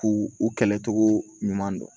K'u u kɛlɛcogo ɲuman dɔn